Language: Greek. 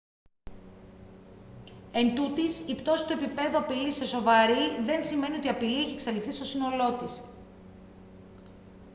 εντούτοις η πτώση του επιπέδου απειλής σε σοβαρή δεν σημαίνει ότι η απειλή έχει εξαλειφθεί στο σύνολό της»